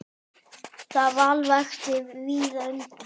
Það val vakti víða undrun.